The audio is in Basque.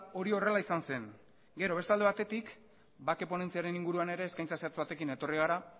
hori horrela izan zen gero beste alde batetik bake ponentziaren inguruan ere eskaintza zehatz batekin etorri gara